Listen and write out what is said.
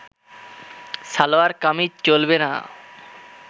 সালোয়ার কামিজ চলবে না